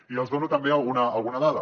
i els dono també alguna dada